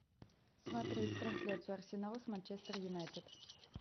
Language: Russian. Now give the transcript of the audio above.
смотреть трансляцию арсенала с манчестер юнайтед